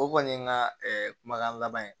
O kɔni ye n ka kumakan laban ye